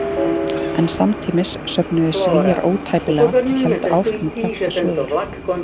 En samtímis söfnuðu Svíar ótæpilega og héldu áfram að prenta sögur.